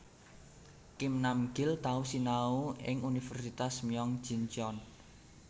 Kim Nam Gil tau sinau ing Universitas Myeong Ji Cheon